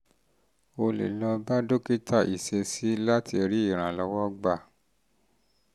o lè lọ bá dókítà ìṣesí láti rí ìrànlọ́wọ́ gbà